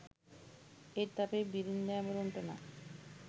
ඒත් අපේ බිරින්දෑවරුන්ටනම්